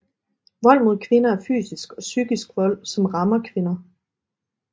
Vold mod kvinder er fysisk og psykisk vold som rammer kvinder